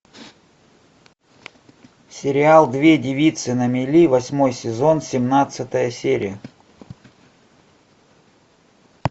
сериал две девицы на мели восьмой сезон семнадцатая серия